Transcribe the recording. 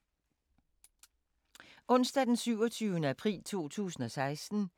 Onsdag d. 27. april 2016